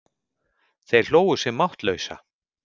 Þeir hlógu sig máttlausa.